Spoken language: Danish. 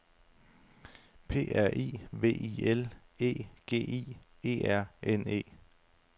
P R I V I L E G I E R N E